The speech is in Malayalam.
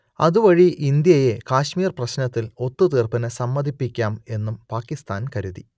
അതുവഴി ഇന്ത്യയെ കാശ്മീർ പ്രശ്നത്തിൽ ഒത്തുതീർപ്പിനു സമ്മതിപ്പിക്കാം എന്നും പാകിസ്താൻ കരുതി